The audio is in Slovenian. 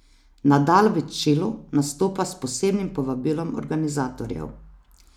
Nadal v Čilu nastopa s posebnim povabilom organizatorjev.